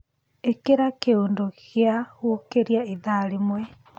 ĩkĩra kiundu gia gukira ĩthaa rĩmwe